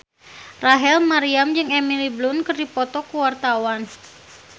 Rachel Maryam jeung Emily Blunt keur dipoto ku wartawan